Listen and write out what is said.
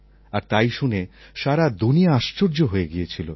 আর তাই শুনে সারা দুনিয়া আশ্চর্য হয়ে গিয়েছিল